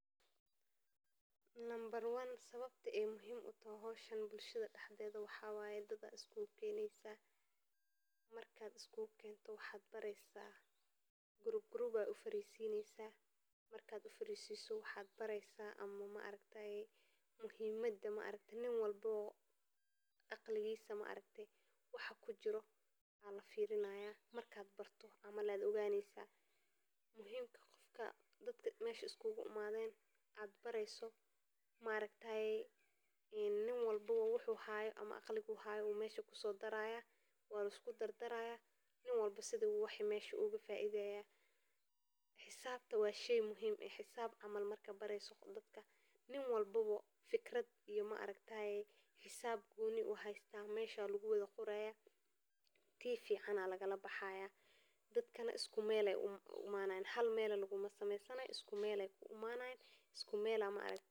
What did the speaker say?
Kooxda haweenka waxay ka kooban tahay qof kasta oo xiiseeya horumarinta haweenka, waxayna ka shaqeeyaan goobaha kala duwan ee bulshada si ay u kor u qaadaan aqoonta, xirfadaha, iyo fursadaha dhaqaalaha ee ay heli karaan, waxayna muhiim u tahay in ay isku duubaan si ay ula dagaallamaan cudurrada, naxariis la’aanta, iyo cadaadiska ay ku nool yihiin haweenka, gaar ahaan kuwa ku nool meelaha qaarkood oo aan waxba laga sheegin, sidaa darteed kooxdan oo ay hogaaminayaan haween firfircoon oo aqoontiisu sarraysaa waxay u adeegtaa in ay noqdaan.